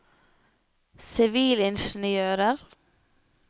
sivilingeniører